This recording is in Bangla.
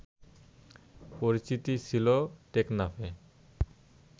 পরিচিতি ছিল টেকনাফের